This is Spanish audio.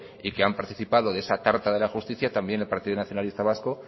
y que han participado de esa tarta de la justicia también el partido nacionalista vasco